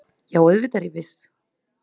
Já, auðvitað er ég viss